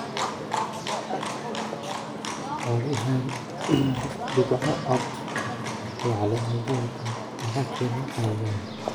Caadi ahaan dhibcaha cad ee caleemaha galleyda waxaa keena cayayaanka.